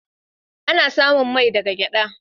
Ana samun mai daga gyada.